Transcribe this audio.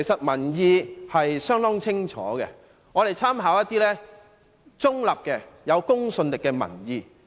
民意相當清楚，我們可參考一些中立而具公信力的民意。